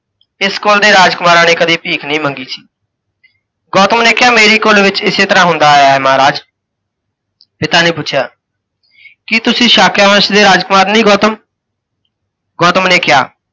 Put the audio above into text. ਇਸ ਕੁੱਲ ਦੇ ਰਾਜਕੁਮਾਰਾਂ ਨੇ ਕਦੇ ਭੀਖ ਨਹੀਂ ਮੰਗੀ ਸੀ। ਗੌਤਮ ਨੇ ਕਿਹਾ, ਮੇਰੀ ਕੁੱਲ ਵਿੱਚ ਇਸੇ ਤਰ੍ਹਾਂ ਹੁੰਦਾ ਆਇਆ ਹੈ ਮਹਾਰਾਜ। ਪਿਤਾ ਨੇ ਪੁੱਛਿਆ, ਕੀ ਤੁਸੀਂ ਸਾਕਯ ਵੰਸ਼ ਦੇ ਰਾਜਕੁਮਾਰ ਨਹੀਂ ਗੌਤਮ? ਗੌਤਮ ਨੇ ਕਿਹਾ,